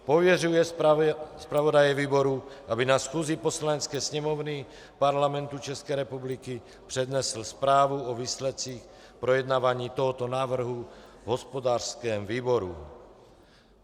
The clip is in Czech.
Pověřuje zpravodaje výboru, aby na schůzi Poslanecké sněmovny Parlamentu České republiky přednesl zprávu o výsledcích projednávání tohoto návrhu v hospodářském výboru.